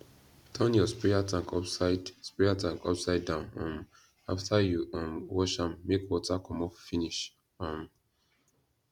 turn your sprayer tank upside sprayer tank upside down um after you um wash am make water commot finish um